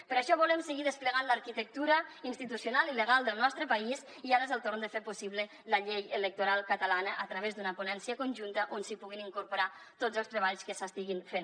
per això volem seguir desplegant l’arquitectura institucional i legal del nostre país i ara és el torn de fer possible la llei electoral catalana a través d’una ponència conjunta on s’hi puguin incorporar tots els treballs que s’estiguin fent